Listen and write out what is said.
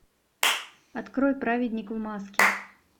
открой праведник в маске